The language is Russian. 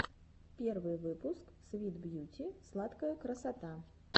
первый выпуск свит бьюти сладкая красота